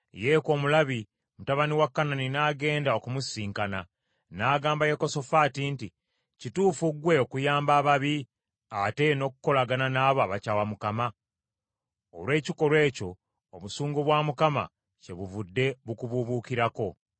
Yeeku, Omulabi, mutabani wa Kanani n’agenda okumusisinkana, n’agamba Yekosafaati nti, “Kituufu ggwe okuyamba ababi, ate n’okukolagana n’abo abakyawa Mukama ? Olw’ekikolwa ekyo, obusungu bwa Mukama kyebuvudde bukubuubukirako.